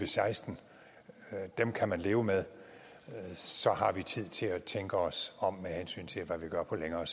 seksten dem kan man leve med så har vi tid til at tænke os om med hensyn til hvad vi gør på længere